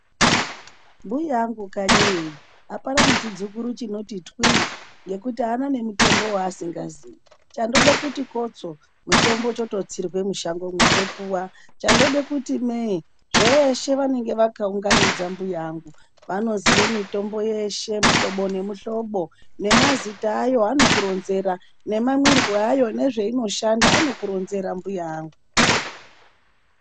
Mbuya angu kanyi iyo apana nechidzukuru chinoti twii ngekuti aana nemitombo waasikaziyi. Chandoda kuti kotso mutombo chototsirwa mushangomwo chopuwa, chandoda kuti mee zveshe vanenge vakaunganidza. Mbuya vangu vanoziye mitombo yeshe mihlobo nemihlobo nemazita ayo. Anokuronzera nemamwirwe ayo, nezveinoshanda anokuronzera mbuya angu.